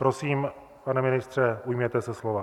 Prosím, pane ministře, ujměte se slova.